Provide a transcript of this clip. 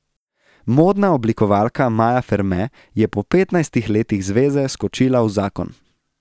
Modna oblikovalka Maja Ferme je po petnajstih letih zveze skočila v zakon.